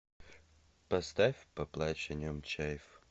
поставь поплачь о нем чайф